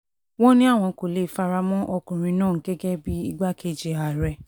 wọ́n ní àwọn kò lè fara mọ́ ọkùnrin náà gẹ́gẹ́ bíi igbákejì ààrẹ